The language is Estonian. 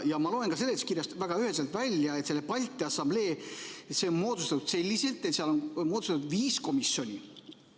Ja ma loen seletuskirjast väga üheselt välja, et see Balti Assamblee on moodustatud selliselt, et seal on viis komisjoni.